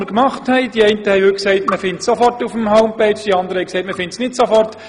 Die einen haben heute gesagt, man finde es auf der Homepage sofort, die anderen, das sei nicht der Fall.